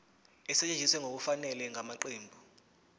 esetshenziswe ngokungafanele ngamaqembu